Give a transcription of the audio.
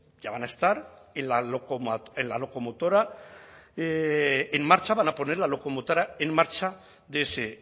ya van a estar en la locomotora en marcha van a poner la locomotora en marcha de ese